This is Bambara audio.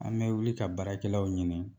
An bɛ wuli ka baarakɛlaw ɲini